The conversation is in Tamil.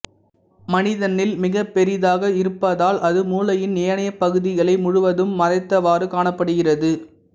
மனிதனில் மிகப்பெரிதாக இருப்பதால் அது மூளையின் ஏனைய பகுதிகளை முழுவதும் மறைத்தவாறு காணப்படுகிறது